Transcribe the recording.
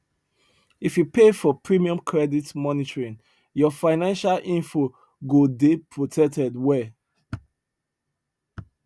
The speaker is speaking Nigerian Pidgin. if you pay for premium credit monitoring your financial info go dey protected well